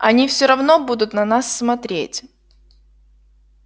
они всё равно будут на нас смотреть